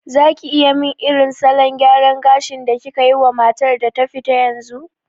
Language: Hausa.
Zaki iya min irin salon gyaran gashin da kikayi wa matar da ta fita yanzu?